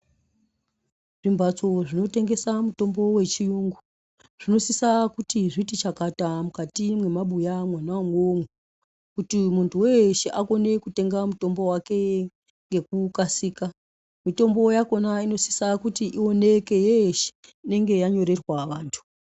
Zvimbatso zvinotengesa mitombo yechiyungu zvinosisa kuti zviti chakata mukati mwema buya mwona imwomwo kuti muntu weshe akone kutenga mitombo wake ngekukasira . Mitombo yakona inosise kuti ioneke yeshe inenge yanyorerwa vantu.